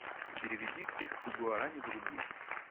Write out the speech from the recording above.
переведи триста гуарани в рубли